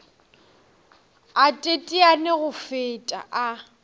a teteane go feta a